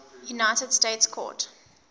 united states court